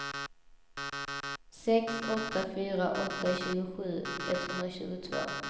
sex åtta fyra åtta tjugosju etthundratjugotvå